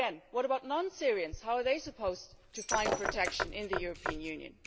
Again, what about non-Syrians how are they supposed to find protection in the European Union?